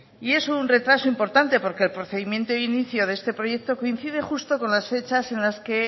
y es un retraso importante porque el procedimiento de inicio de este proyecto coincide justo con las fechas en las que